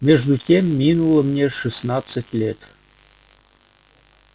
между тем минуло мне шестнадцать лет